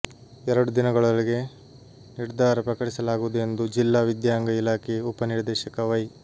ಎರಡು ದಿನಗಳೊಳಗೆ ನಿರ್ಧಾರ ಪ್ರಕಟಿಸಲಾಗುವುದು ಎಂದು ಜಿಲ್ಲಾ ವಿದ್ಯಾಂಗ ಇಲಾಖೆ ಉಪ ನಿರ್ದೇಶಕ ವೈ